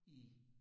I